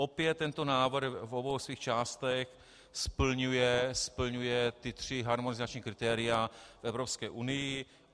Opět tento návrh v obou svých částech splňuje ta tři harmonizační kritéria v Evropské unii.